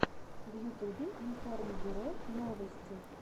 в ютюбе информбюро новости